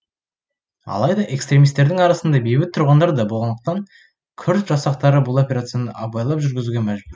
алайда экстремистердің арасында бейбіт тұрғындар да болғандықтан күрд жасақтары бұл операцияны абайлап жүргізуге мәжбүр